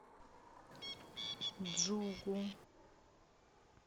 джугу